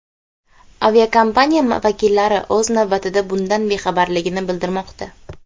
Aviakompaniya vakillari, o‘z navbatida, bundan bexabarligini bildirmoqda.